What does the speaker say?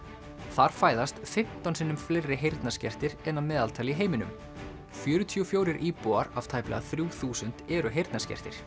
þar fæðast fimmtán sinnum fleiri heyrnarskertir en að meðaltali í heiminum fjörutíu og fjórir íbúar af tæplega þrjú þúsund eru heyrnarskertir